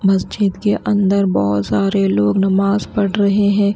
मस्जिद के अंदर बहुत सारे लोग नमाज पढ़ रहे हैं।